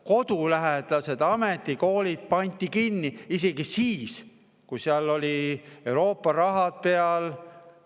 Kodulähedased ametikoolid pandi kinni isegi siis, kui seal oli Euroopa raha peal.